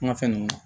Kuma fɛn ninnu